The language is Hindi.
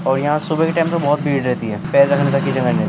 और यहाँ सुबह के टाइम पे बोहोत भीड़ रहती है पैर रखने तक की जगह नही --